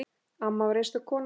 Amma var einstök kona.